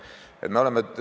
Aitäh!